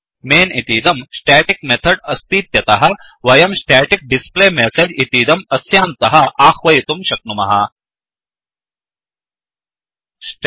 men इतीदं static method अस्तीत्यतः वयं स्टेटिक् डिस्प्ले मेसेज्स्टेटिक डिस्प्लेमेसेज इतीदं अस्यान्तः आह्वयितुं शक्नुमः